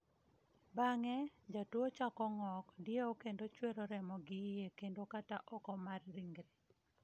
Bang’e, jatuwo chako ng’ok, dieu kendo chuero remo gi iye kendo kata oko mar ringre.